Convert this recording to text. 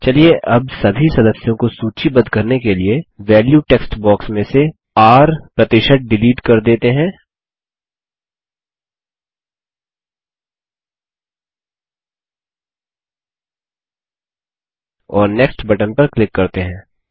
चलिए अब सभी सदस्यों को सूचीबद्ध करने के लिए वैल्यू टेक्स्ट बॉक्स में से R डिलीट कर देते हैं और नेक्स्ट बटन पर क्लिक करते हैं